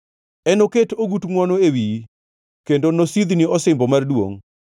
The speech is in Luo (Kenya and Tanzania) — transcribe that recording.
Enoket ogut ngʼwono e wiyi kendo nosidhni osimbo mar duongʼ.”